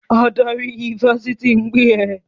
Adarí ifásitì ń pè ẹ́!